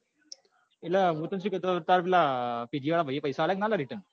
એટલે મુ તને શું કેતો હતો તાર પેલા pg વાળા ભાઈ એ પૈસા આપ્યા કે નાં return